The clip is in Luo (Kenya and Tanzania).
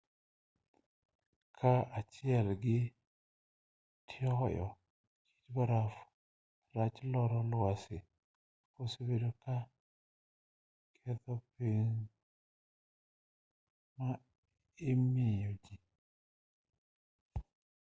kaa achiel gi toyo kit barafu rach kor lwasi osebedo ka ketho kony ma imiyo ji